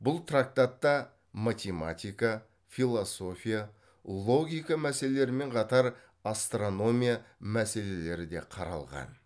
бұл трактатта математика философия логика мәселерімен қатар астрономия мәселелері де қаралған